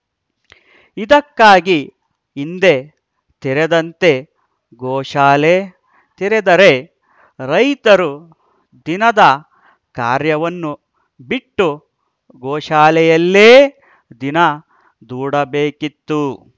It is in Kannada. ಇದಕ್ಕಾಗಿ ಹಿಂದೆ ತೆರೆದಂತೆ ಗೋಶಾಲೆ ತೆರೆದರೆ ರೈತರು ದಿನದ ಕಾರ್ಯವನ್ನು ಬಿಟ್ಟು ಗೋಶಾಲೆಯಲ್ಲೇ ದಿನ ದೂಡಬೇಕಿತ್ತು